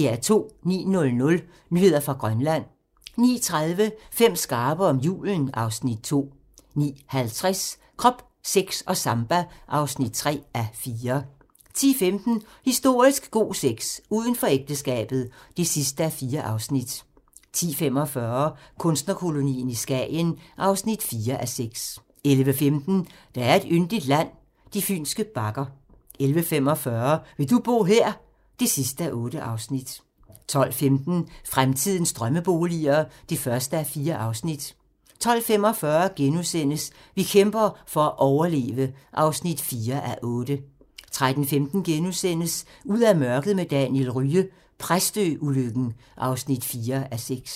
09:00: Nyheder fra Grønland 09:30: Fem skarpe om julen (Afs. 2) 09:50: Krop, sex og samba (3:4) 10:15: Historisk god sex - Uden for ægteskabet (4:4) 10:45: Kunstnerkolonien i Skagen (4:6) 11:15: Der er et yndigt land - de fynske bakker 11:45: Vil du bo her? (8:8) 12:15: Fremtidens drømmeboliger (1:4) 12:45: Vi kæmper for at overleve (4:8)* 13:15: Ud af mørket med Daniel Rye - Præstø-ulykken (4:6)*